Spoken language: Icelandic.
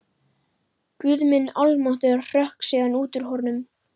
Guð minn almáttugur hrökk síðan út úr honum.